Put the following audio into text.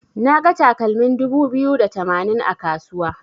Naga takalmin dubu biyu da tamanin a kasuwa.